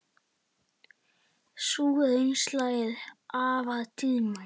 Sú reynsla er afar dýrmæt.